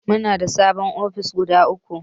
Muna da sabin ofis guda uku